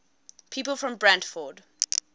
people from brantford